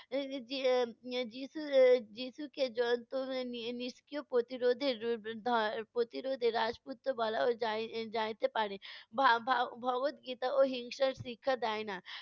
এর যি~ যি~ যিশু এর এর যিশুকে নিষ্ক্রিয় প্রতিরোধর প্রতিরোধে ররাজপুত্র বলা যায় যাইতে পারে। ভা~ ভা~ ভগবত গীতা হিংসার শিক্ষা দেয়না।